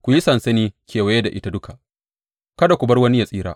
Ku yi sansani kewaye da ita duka; kada ku bar wani ya tsira.